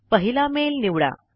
पहिला मेल निवडा